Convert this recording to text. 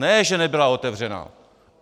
Ne že nebyla otevřena.